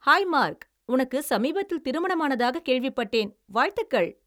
High Mark! உனக்கு சமீபத்தில் திருமணமானதாகக் கேள்விப்பட்டேன்! வாழ்த்துகள்!